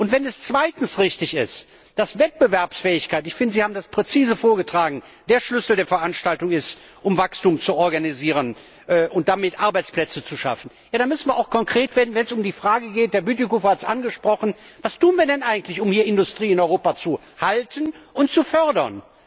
Wenn es zweitens richtig ist, dass Wettbewerbsfähigkeit ich finde, Sie haben das präzise vorgetragen der Schlüssel der Veranstaltung ist, um Wachstum zu organisieren und damit Arbeitsplätze zu schaffen, dann müssen wir auch konkret werden, wenn es um die Frage geht Herr Bütikofer hat es angesprochen was wir eigentlich tun, um Industrie in Europa zu halten und zu fördern.